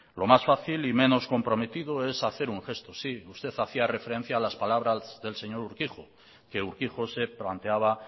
lo más fácil y menos comprometido es hacer un gesto sí usted hacía referencia a las palabras del señor urquijo que urquijo se planteaba